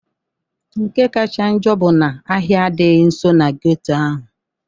Nke kacha njọ bụ na ahịa adịghị nso na geto ahụ.